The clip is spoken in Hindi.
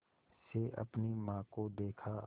से अपनी माँ को देखा